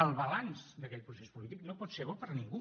el balanç d’aquell procés polític no pot ser bo per a ningú